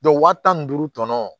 wa tan ni duuru tɔnɔ